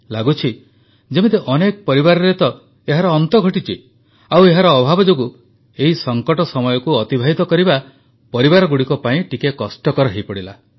ଲାଗୁଛି ଯେମିତି ଅନେକ ପରିବାରରେ ତ ଏହାର ଅନ୍ତ ଘଟିଛି ଆଉ ଏହାର ଅଭାବ ଯୋଗୁଁ ଏହି ସଙ୍କଟ ସମୟକୁ ଅତିବାହିତ କରିବା ପରିବାରଗୁଡ଼ିକ ପାଇଁ ଟିକିଏ କଷ୍ଟକର ହୋଇପଡ଼ିଲା